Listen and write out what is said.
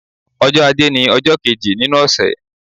Ọjọ́ ajé ni ọjọ́ kéjì nínú ọ̀sẹ̀.